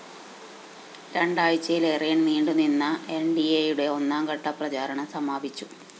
രണ്ടാഴ്ചയിലേറെ നീണ്ടു നിന്ന എന്‍ഡിഎയുടെ ഒന്നാം ഘട്ട പ്രചാരണം സമാപിച്ചു